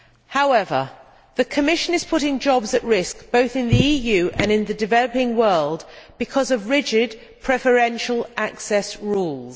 However, the Commission is putting jobs at risk, both in the EU and in the developing world because of rigid preferential access rules.